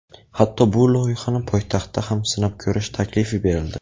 Hatto bu loyihani poytaxtda ham sinab ko‘rish taklifi berildi.